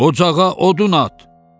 Ocağa odun at.